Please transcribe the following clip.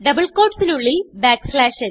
double quoteസിന് ഉള്ളിൽ n